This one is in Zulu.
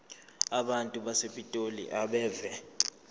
abantu basepitoli abeve